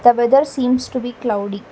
the weather seems to be cloudy.